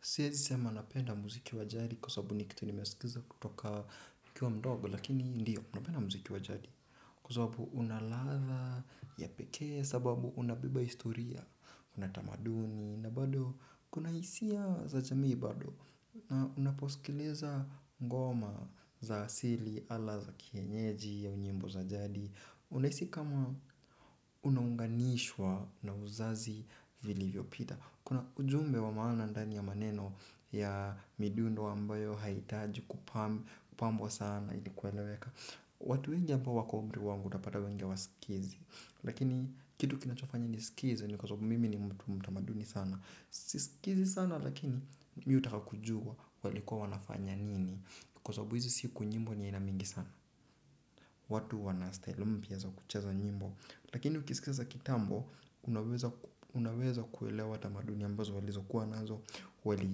Siwezi sema napenda muziki wa jari kwa sababu ni kitu nimesikiza kutoka nikiwa mdogo lakini ndiyo napenda muziki wa jari. Kwa sababu unaladha ya pekee sababu unabeba historia, na tamaduni na bado kuna hisia za jamii bado. Na unaposikiliza ngoma za asili ama za kienyeji au nyimbo za jadi. Unahisi kama unaunganishwa na uzazi vilivyo pita. Kuna ujumbe wa maana ndani ya maneno ya midundo ambayo hahitaji kupambwa sana ili kueleweka. Watu wengi ambao wako umri wangu utapata wengi hawasikizi. Lakini kitu kinachofanya nisikize ni kwa sababu mimi ni mtu mtamaduni sana. Si sikizi sana lakini mimi hutaka kujua walikuwa wanafanya nini. Kwa sababu hizi siku nyimbo ni aina mingi sana. Watu wanastyle mpya za kucheza nyimbo. Lakini ukisikiza za kitambo, unaweza kuelewa tamaduni ambazo walizokuwa nazo, wali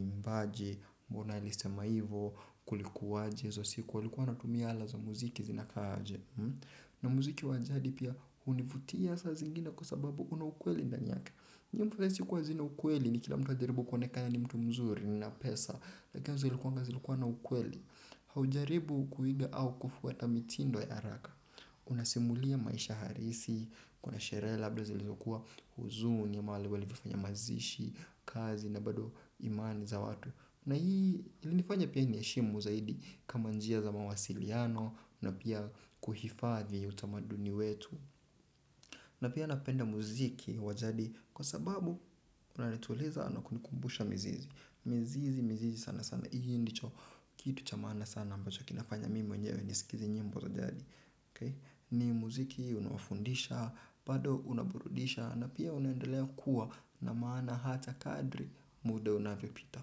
imbaje, mbona alisema hivo, kulikuwaje hizo siku, walikuwa wanatumia ala za muziki zinakaaje. Na muziki wa jadi pia univutia saa zingine kwa sababu una ukweli ndani yake. Nyimuwezi sikuwa zina ukweli ni kila mtu ajaribu kuonekana ni mtu mzuri na pesa. Lakini zilikuwa na ukweli, haujaribu kuiga au kufwata mitindo ya haraka. Unasimulia maisha halisi. Kuna sherehe labda zilizokuwa huzuni mahali walivyofanya mazishi. Kazi na bado imani za watu na hii ilinifanya pia niheshimu zaidi kama njia za mawasiliano na pia kuhifadhi utamaduni wetu na pia napenda muziki wa jadi kwa sababu unanituliza na kunikumbusha mzizi. Mizizi mzizi sana sana. Hii ndicho kitu cha maana sana ambacho kinafanya mimi mwenyewe nisikize nyimbo za jadi. Ni muziki unaofundisha, bado unaburudisha na pia unaendelea kuwa na maana hata kadri muda unavyopita.